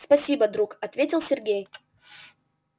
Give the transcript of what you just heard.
спасибо друг ответил сергей